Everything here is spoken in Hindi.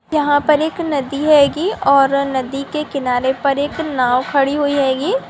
यहाँ पर एक नदी हैगी और नदी के किनारे पर एक नाव खड़ी हुई हैगी।